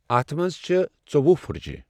اَتھ منٛز چھےٚ ژوٚوہہ پھٕٹجہِ۔